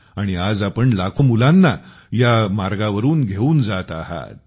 आणि आज आपण लाखों मुलांना ह्या मार्गा वरून घेऊन जात आहात